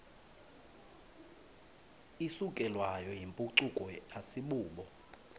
isukelwayo yimpucuko asibubo